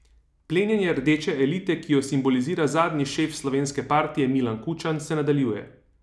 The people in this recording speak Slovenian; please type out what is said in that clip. Plenjenje rdeče elite, ki jo simbolizira zadnji šef slovenske partije Milan Kučan, se nadaljuje.